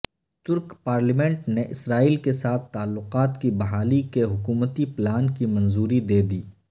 ترک پارلیمنٹ نے اسرائیل کے ساتھ تعلقات کی بحالی کے حکومتی پلان کی منظوری دیدی